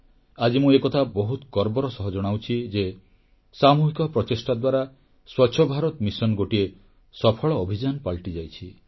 ଆଜି ମୁଁ ଏକଥା ବହୁତ ଗର୍ବର ସହ ଜଣାଉଛି ଯେ ସାମୁହିକ ପ୍ରଚେଷ୍ଟା ଦ୍ୱାରା ସ୍ୱଚ୍ଛ ଭାରତ ମିଶନ ଗୋଟିଏ ସଫଳ ଅଭିଯାନ ପାଲଟିଯାଇଛି